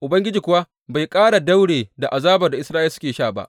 Ubangiji kuwa bai ƙara daure da azabar da Isra’ila suke sha ba.